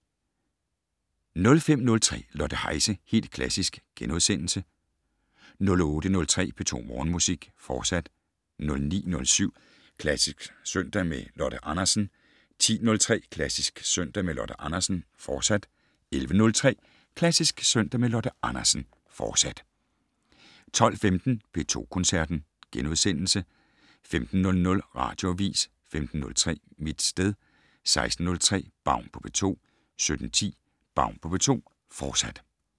05:03: Lotte Heise - Helt Klassisk * 08:03: P2 Morgenmusik, fortsat 09:07: Klassisk søndag med Lotte Andersen 10:03: Klassisk søndag med Lotte Andersen, fortsat 11:03: Klassisk søndag med Lotte Andersen, fortsat 12:15: P2 Koncerten * 15:00: Radioavis 15:03: Mit sted 16:03: Baun på P2 17:10: Baun på P2, fortsat